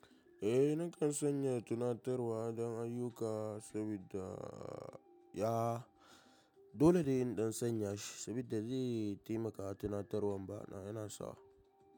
Eh nakan sanya tunatarwa don ayyuka sabida ya dole dai in ɗan sanya shi saboda zai taimaka tunatarwan ba na yana sawa.